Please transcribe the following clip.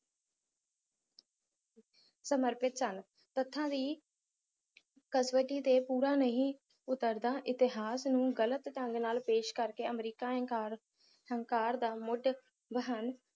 ਸਮਰਪਿਤ ਸਨ ਤੱਥਾਂ ਦੀ ਕਸਵੱਟੀ ਤੇ ਪੂਰਾ ਨਹੀ ਉਤਰਦਾ ਇਤਿਹਾਸ ਨੂੰ ਗਲਤ ਢੰਗ ਨਾਲ ਪੇਸ਼ ਕਰਕੇ ਅਮਰੀਕਾ ਹੰਕਾਰ ਹੰਕਾਰ ਦਾ ਮੁੱਢ ਹਨ